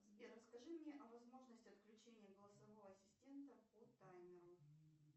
сбер расскажи мне о возможности отключения голосового ассистента по таймеру